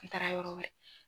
An taara yɔrɔ wɛrɛ